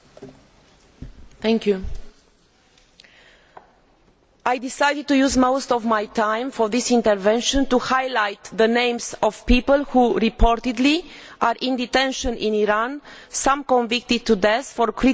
I have decided to use most of my time for this intervention to highlight the names of people who, reportedly, are in detention in Iran, some convicted to death, for criticising the political regime or for defending civil rights.